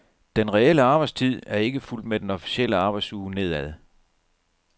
Den reelle arbejdstid er ikke fulgt med den officielle arbejdsuge nedad.